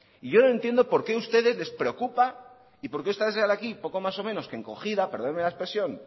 y yo no entiendo por qué a ustedes les preocupa y por qué usted sale aquí poco más o menos que encogida perdóneme la expresión